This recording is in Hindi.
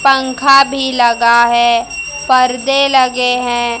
पंखा भी लगा है परदे लगे हैं।